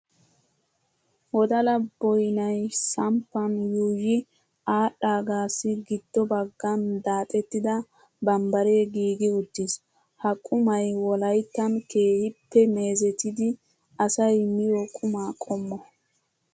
Wdala boyinayi samppan yuuyyi aadhdhaagaassi giddo baggan daaxettida bambbaree giigi uttis. Ha qumayi wolayittan keehippe meezetidi asayi miyoo qumaa qommo.